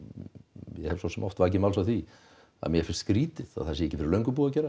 ég hef svosem oft vakið máls á því að mér finnst skrítið að það sé ekki fyrir löngu búið að gera